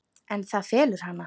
En það felur hana.